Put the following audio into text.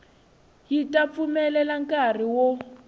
yi ta pfumelela nkari wo